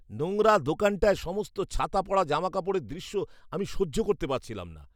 নোংরা দোকানটায় সমস্ত ছাতা পড়া জামাকাপড়ের দৃশ্য আমি সহ্য করতে পারছিলাম না।